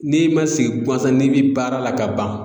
N'i ma sigi guansan n'i bi baara la ka ban.